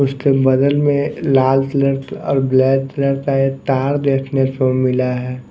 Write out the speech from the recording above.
उसके बदल में लाल तलर और ब्लैक तलर ता एक तार देखने को मिला है।